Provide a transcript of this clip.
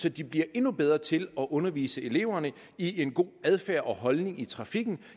at de bliver endnu bedre til at undervise eleverne i en god adfærd og holdning i trafikken